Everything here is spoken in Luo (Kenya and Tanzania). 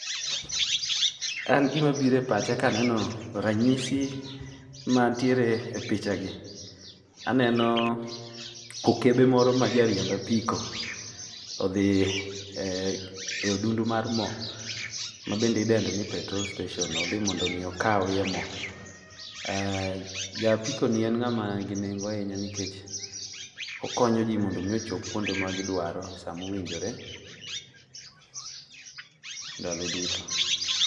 An gima biro e pacha ka aneno ranyisi mantiere e picha gi, aneno, okebe moro majariemb apiko, odhi e odundu mar mo, ma be idendo ni petrol station. Odhi mondo omi okawie mo. Ja apiko ni en ng'ama nigi nengo ahinya nikech okonyo ji mondo omi ochop kama dwaro e sa mowinjore, ndalo duto.